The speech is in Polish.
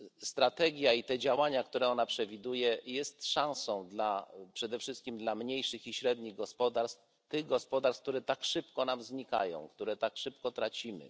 Strategia i te działania, które ona przewiduje, są szansą przede wszystkim dla mniejszych i średnich gospodarstw, tych gospodarstw, które tak szybko nam znikają, które tak szybko tracimy.